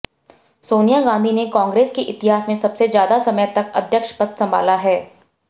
सोनिया गांधी ने कांग्रेस के इतिहास में सबसे ज्यादा समय तक अध्यक्ष पद संभाला है